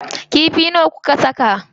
Kifi nawa kuka saka?